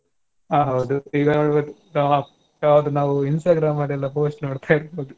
ಹಾ ಹೌದು ಈಗ ಯಾವುದು ಯಾವುದು ನಾವು Instagram ಅದೆಲ್ಲ post ನೋಡ್ತಿರಬೋದು .